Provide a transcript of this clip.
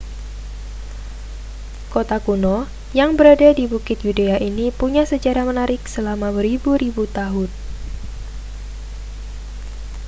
kota kuno yang berada di bukit yudea ini punya sejarah menarik selama beribu-ribu tahun